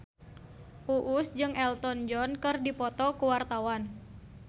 Uus jeung Elton John keur dipoto ku wartawan